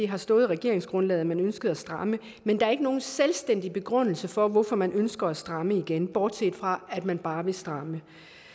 har stået i regeringsgrundlaget at man ønsker at stramme men der er ikke nogen selvstændig begrundelse for hvorfor man ønsker at stramme igen bortset fra at man bare vil stramme